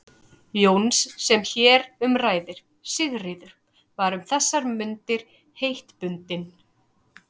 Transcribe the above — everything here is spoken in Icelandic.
Jóns sem hér um ræðir, Sigríður, var um þessar mundir heitbundin